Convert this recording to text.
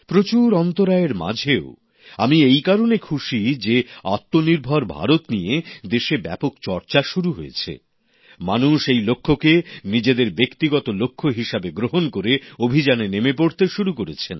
প্রচুর অন্তরায়ের মাঝেও আমি এই কারণে খুশি যে আত্মনির্ভর ভারত নিয়ে দেশে ব্যাপক চর্চা শুরু হয়েছে মানুষ এই লক্ষ্যকে নিজেদের ব্যক্তিগত লক্ষ্য হিসেবে গ্রহণ করে অভিযানে নেমে পড়তে শুরু করেছেন